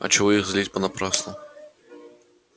а чего их злить понапрасну